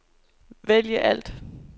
vælg alt